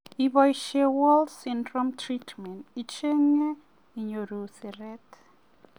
Iboishe "Wolman syndrome treatment" icheng'e inyoru siret .